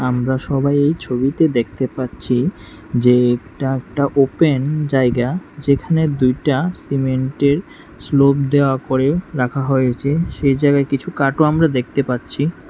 আমরা সবাই এই ছবিতে দেখতে পাচ্ছি যে এটা একটা ওপেন জায়গা যেখানে দুইটা সিমেন্টের স্লব দেওয়া করে রাখা হয়েছে সেই জায়গায় কিছু কাঠ আমরা দেখতে পাচ্ছি।